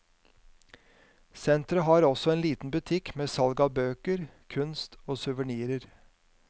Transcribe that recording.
Senteret har også en liten butikk med salg av bøker, kunst og suvenirer.